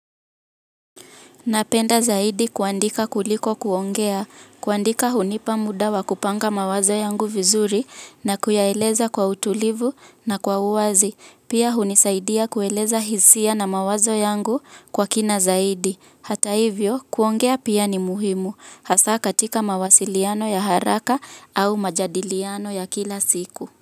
Napenda zaidi kuandika kuliko kuongea. Kuandika hunipa muda wa kupanga mawazo yangu vizuri na kuyaeleza kwa utulivu na kwa uwazi. Pia hunisaidia kueleza hisia na mawazo yangu kwa kina zaidi. Hata hivyo, kuongea pia ni muhimu. Hasa katika mawasiliano ya haraka au majadiliano ya kila siku.